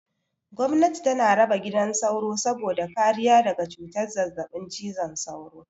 Gomnati tana raba gidan sauro saboda kariya daga cutar zazzaɓin cizon sauro.